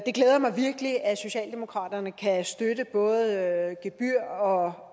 det glæder mig virkelig at socialdemokraterne kan støtte både gebyr og